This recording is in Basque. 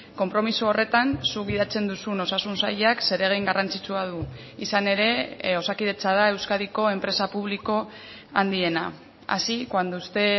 konpromiso horretan zuk gidatzen duzun osasun sailak zeregin garrantzitsua du izan ere osakidetza da euskadiko enpresa publiko handiena así cuando usted